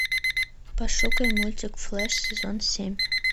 пошукай мультик флэш сезон семь